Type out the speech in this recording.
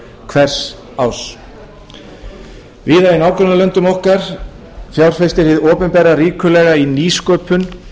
hvers árs víða í nágrannalöndum okkar fjárfestir hið opinbera í nýsköpun